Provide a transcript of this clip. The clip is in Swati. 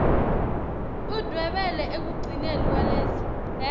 udvwebele ekugcineni kwaleso